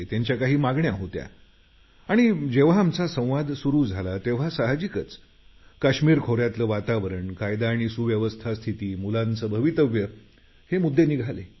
त्यांच्या काही मागण्या होत्या आणि जेव्हा आमचा संवाद सुरू झाला तेव्हा साहजिकच काश्मीर खोऱ्यातले वातावरण कायदा आणि सुव्यवस्था स्थिती मुलांचं भवितव्य हे मुद्दे निघाले